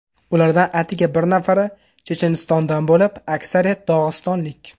Ulardan atigi bir nafari Chechenistondan bo‘lib, aksariyati dog‘istonlik.